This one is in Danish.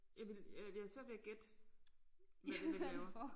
Jeg ville jeg jeg har svært ved at gætte hvad det er de laver